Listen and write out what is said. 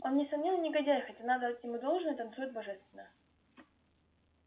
он несомненно негодяй хотя надо отдать ему должное танцует божественно